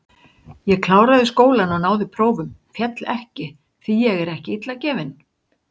Ég kláraði skólann og náði prófum, féll ekki, því ég er ekki illa gefinn.